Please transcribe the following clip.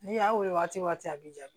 N'i y'a weele waati a bi ja